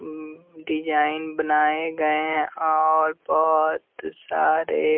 उम्म design बनाए गए हैं और बहुत सारे--